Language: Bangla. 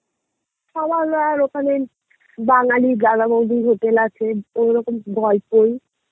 খাওয়া দাওয়ার ওখানে বাঙালী দাদা বৌদির Hotel আছে